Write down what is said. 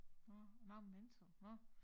Nå mange mennesker nå